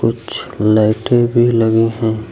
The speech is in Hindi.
कुछ लाइटें भी लगी हैं।